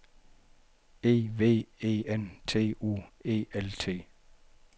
E V E N T U E L T